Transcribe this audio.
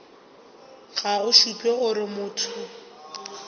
ga go šupe gore motho